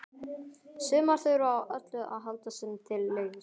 Sumar þurfa á öllu að halda sem til leggst.